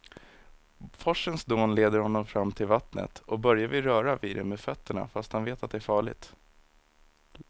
Forsens dån leder honom fram till vattnet och Börje vill röra vid det med fötterna, fast han vet att det är farligt.